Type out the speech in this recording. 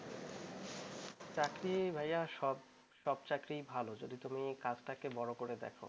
চাকরি ভাইয়া সব চাকরি ভাল যদি তুমি কাজটাকে বড় করে দেখ